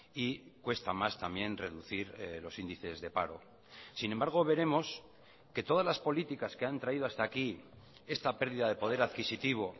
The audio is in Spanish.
y cuesta más también reducir los índices de paro sin embargo veremos que todas las políticas que han traído hasta aquí esta pérdida de poder adquisitivo